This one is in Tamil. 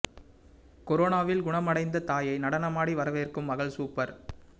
கொரோனாவில் குணம் அடைந்த தாய்யை நடனமாடி வரவேற்கும் மகள் சூப்பர்